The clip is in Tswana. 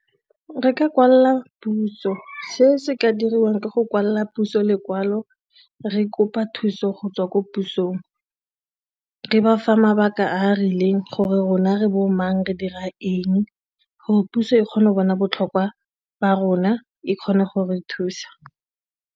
Re ka kwalela puso, se se ka diriwang ke go kwalela puso lekwalo re kopa thuso go tswa ko pusong, re ba fa mabaka a a rileng gore rona re bo mang re dira eng gore puso e kgone go bona botlhokwa ba rona e kgone go re thusa.